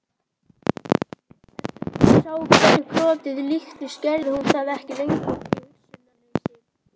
Eftir að hún sá hverju krotið líktist gerði hún það ekki lengur í hugsunarleysi.